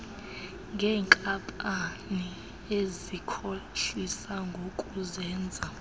ngeenkampani ezikhohlisa ngokuzenza